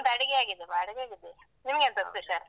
ನಮ್ದು ಅಡುಗೆ ಆಗಿದೆ ಅಡುಗೆ ಆಗಿದೆ. ನಿಮಗೆ ಎಂತ special ?